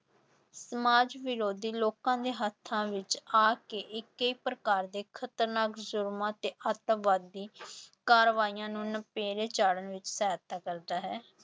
ਸਮਾਜ ਵਿਰੋਧੀ ਲੋਕਾਂ ਦੇ ਹੱਥਾਂ ਆ ਕੇ ਇਹ ਕਈ ਪ੍ਰਕਾਰ ਦੇ ਖ਼ਤਰਨਾਕ ਜ਼ੁਰਮਾਂ ਤੇ ਆਤੰਕਵਾਦੀ ਕਾਰਵਾਈਆਂ ਨੂੰ ਨਿਪੇਰੇ ਚਾੜਨ ਵਿੱਚ ਸਹਾਇਤਾ ਕਰਦਾ ਹੈ।